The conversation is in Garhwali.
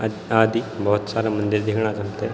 अ आदि भौत सारा मंदिर दिखणा छ हमथे।